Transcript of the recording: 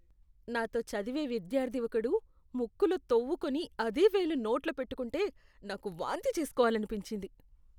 నాతో చదివే విద్యార్ధి ఒకడు ముక్కులో తోవ్వుకొని అదే వేలు నోట్లో పెట్టుకుంటే నాకు వాంతి చేస్కోవాలనిపించింది.